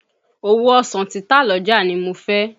Òwò ọsàn títà l'ọ́jà nì mo fẹ́.